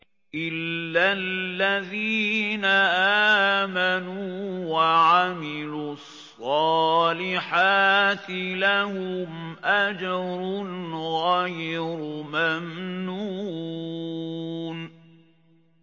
إِلَّا الَّذِينَ آمَنُوا وَعَمِلُوا الصَّالِحَاتِ لَهُمْ أَجْرٌ غَيْرُ مَمْنُونٍ